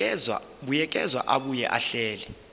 buyekeza abuye ahlele